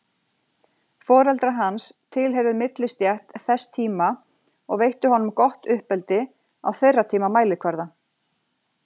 Foreldrar hans tilheyrðu millistétt þess tíma og veittu honum gott uppeldi á þeirra tíma mælikvarða.